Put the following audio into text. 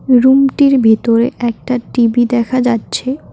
রুমটির ভিতরে একটা টি_বি দেখা যাচ্ছে।